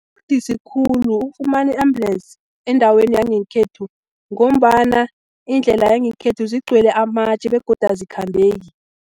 Budisi khulu ukufumana i-ambulesi endaweni yangekhethu, ngombana indlela yangekhethu zigcwele amatje begodu azikhambeki.